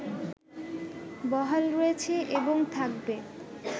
বহাল রয়েছে এবং থাকবে